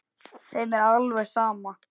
Þeim er alveg sama.